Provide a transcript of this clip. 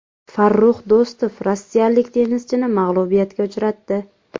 Farrux Do‘stov rossiyalik tennischini mag‘lubiyatga uchratdi.